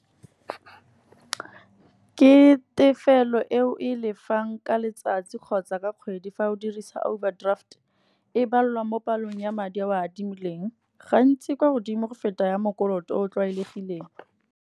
Ke tefelo eo e lefang ka letsatsi kgotsa ka kgwedi, fa o dirisa overdraft e balwang mo palong ya madi a o a adimileng. Gantsi kwa godimo go feta ya mokoloto o o tlwaelegileng.